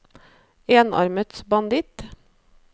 enarmet banditt